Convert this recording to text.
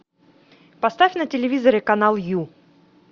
поставь на телевизоре канал ю